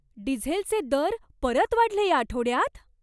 डिझेलचे दर परत वाढले या आठवड्यात?